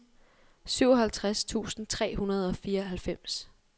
syvoghalvtreds tusind tre hundrede og fireoghalvfems